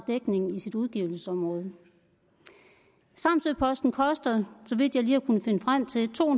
dækning i sit udgivelsesområde samsø posten koster så vidt jeg lige har kunnet finde frem til to